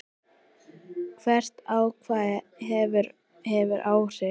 Hvert atkvæði hefur áhrif.